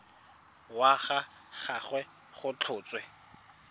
wa ga gagwe go tlhotswe